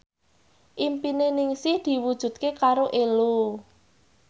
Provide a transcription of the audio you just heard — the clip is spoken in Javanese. impine Ningsih diwujudke karo Ello